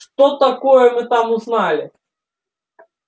что такое мы там узнали